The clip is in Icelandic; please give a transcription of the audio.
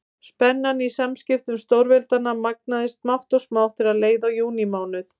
Spennan í samskiptum stórveldanna magnaðist smátt og smátt þegar leið á júlímánuð.